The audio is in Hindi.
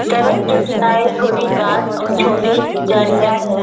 सड़क के किनारे छोटी घास और छोटी झाड़ियां हैं।